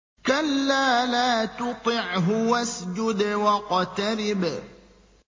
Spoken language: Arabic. كَلَّا لَا تُطِعْهُ وَاسْجُدْ وَاقْتَرِب ۩